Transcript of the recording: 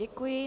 Děkuji.